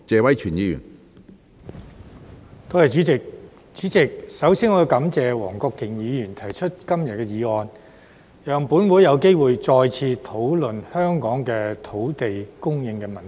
主席，我首先感謝黃國健議員提出今天的議案，讓立法會有機會再次討論香港的土地供應問題。